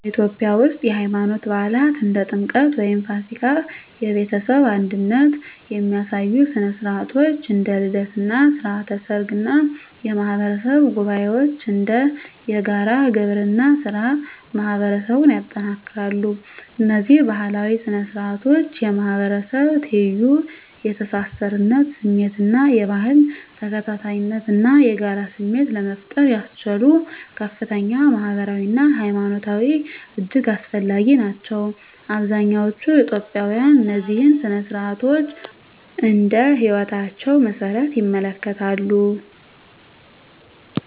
በኢትዮጵያ ውስጥ፣ የሃይማኖት በዓላት (እንደ ጥምቀት ወይም ፋሲካ)፣ የቤተሰብ አንድነት የሚያሳዩ ሥነ ሥርዓቶች (እንደ ልደት እና ሥርዓተ ሰርግ) እና የማህበረሰብ ጉባኤዎች (እንደ የጋራ ግብርና ሥራ) ማህበረሰቡን ያጠናክራሉ። እነዚህ ባህላዊ ሥነ ሥርዓቶች የማህበረሰብ ትይዩ፣ የተሳሳርነት ስሜት እና የባህል ተከታታይነት እና የጋራ ስሜት ለመፍጠር ያስችሉ ከፍተኛ ማህበራዊ አና ሀይማኖታዊ እጅግ አስፈላጊ ናቸው። አብዛኛዎቹ ኢትዮጵያውያን እነዚህን ሥነ ሥርዓቶች እንደ ህይወታቸው መሰረት ይመለከታሉ።